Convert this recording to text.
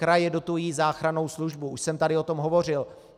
Kraje dotují záchrannou službu, už jsem tady o tom hovořil.